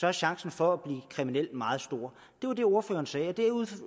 er chancen for at blive kriminel meget stor det var det ordføreren sagde deraf